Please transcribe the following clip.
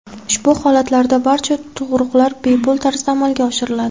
Ushbu holatlarda barcha tug‘ruqlar bepul tarzda amalga oshiriladi.